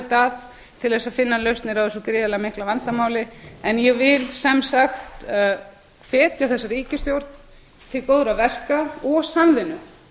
að til að finna lausnir á þessu gríðarlega mikla vandamáli en ég vil sem sagt hvetja þessa ríkisstjórn til góðra verka og samvinnu